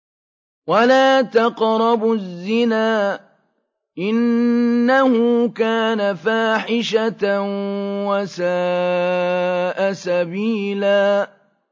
وَلَا تَقْرَبُوا الزِّنَا ۖ إِنَّهُ كَانَ فَاحِشَةً وَسَاءَ سَبِيلًا